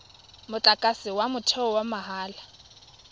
motlakase wa motheo wa mahala